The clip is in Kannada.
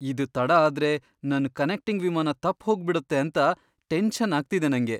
ಇದ್ ತಡ ಆದ್ರೆ ನನ್ ಕನೆಕ್ಟಿಂಗ್ ವಿಮಾನ ತಪ್ಪ್ ಹೋಗ್ಬಿಡುತ್ತೆ ಅಂತ ಟೆನ್ಷನ್ ಆಗ್ತಿದೆ ನಂಗೆ.